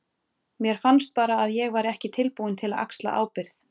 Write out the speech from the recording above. Mér fannst bara að ég væri ekki tilbúinn til að axla ábyrgð.